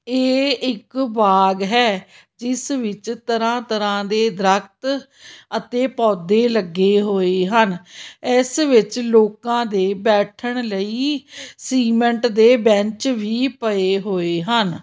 ਇਹ ਇੱਕ ਬਾਗ ਹੈ ਜਿਸ ਵਿੱਚ ਤਰ੍ਹਾਂ ਤਰ੍ਹਾਂ ਦੇ ਦਰਖਤ ਅਤੇ ਪੌਦੇ ਲੱਗੇ ਹੋਏ ਹਨ ਇਸ ਵਿੱਚ ਲੋਕਾਂ ਦੇ ਬੈਠਣ ਲਈ ਸੀਮੈਂਟ ਦੇ ਬੈਂਚ ਵੀ ਪਏ ਹੋਏ ਹਨ।